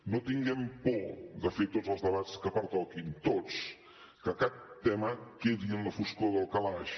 no tinguem por de fer tots els debats que pertoquin tots que cap tema quedi en la foscor del calaix